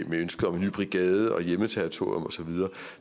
med ønske om en ny brigade og hjemmeterritorium